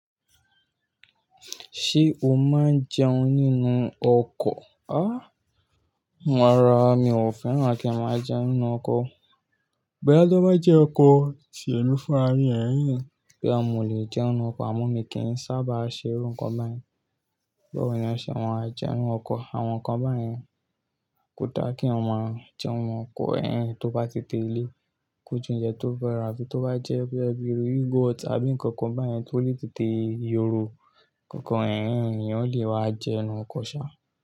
Ṣé o máa ń jẹun nínú ọkọ̀? Á rara, mi ò fẹ́ràn kí n máa jẹun nínú ọkọ̀. Ɓoya tó bá jẹ́ ọkọ̀ tí ẹmi fún rami ẹ̀n ẹn boya mọ lè jẹun nínú ọkọ̀, àmọ́ mi kì í sábà ṣe irú nǹkan báyìí. Báwo ni ọṣẹ̀ ma á jẹun nínú ọkọ̀? Àwọn nǹkan báyìí kò dá kí ọmọ jẹun nínú ọkọ̀ ẹ̀yìn tó bá ti de ilé. Kójú ǹjẹ́ tó fẹ́ra àti tó bá jẹ́ pé ẹ́ gbé yogurt àbí nǹkan kan báyìí tó lè tètè yoro, kankan ẹ̀rọ ènìyàn lè wá jẹun nínú ọkọ̀ sá.